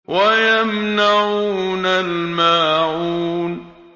وَيَمْنَعُونَ الْمَاعُونَ